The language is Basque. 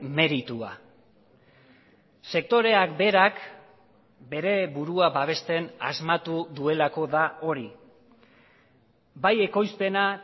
meritua sektoreak berak bere burua babesten asmatu duelako da hori bai ekoizpena